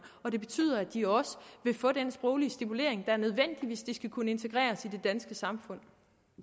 og det betyder at de også vil få den sproglige stimulering der er nødvendig hvis de skal kunne integreres i det danske samfund